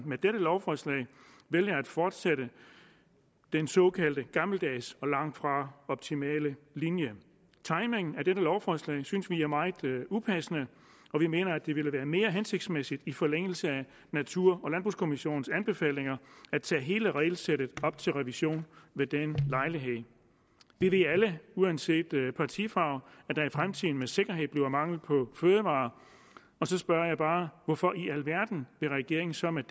med dette lovforslag vælger at fortsætte den såkaldte gammeldags og langtfra optimale linje timingen af dette lovforslag synes vi er meget upassende og vi mener at det ville være mere hensigtsmæssigt i forlængelse af natur og landbrugskommissionens anbefalinger at tage hele regelsættet op til revision ved den lejlighed vi ved alle uanset partifarve at der i fremtiden med sikkerhed bliver mangel på fødevarer og så spørger jeg bare hvorfor i alverden vil regeringen så med